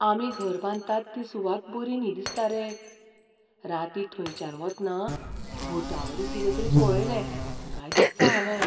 आमी घर बांदतात ती सुवात बरी न्ही दिसता रे. रातीं थंयच्यान वतना भूतावरी कितें तरी पळयलें काय दिसता हावें.